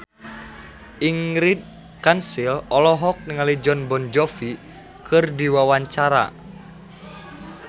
Ingrid Kansil olohok ningali Jon Bon Jovi keur diwawancara